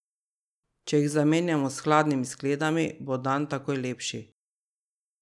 Če jih zamenjamo s hladnimi skledami, bo dan takoj lepši.